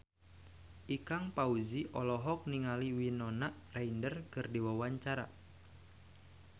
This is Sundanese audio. Ikang Fawzi olohok ningali Winona Ryder keur diwawancara